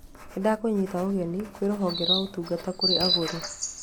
Nĩndakũnyita ũgeni kwĩ rũhonge rwa ũtungata kũrĩ agũri.